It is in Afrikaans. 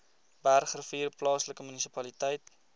bergrivier plaaslike munisipaliteit